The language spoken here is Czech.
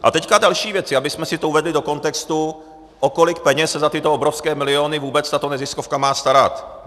A teď další věci, abychom si to uvedli do kontextu, o kolik peněz se za tyto obrovské miliony vůbec tato neziskovka má starat.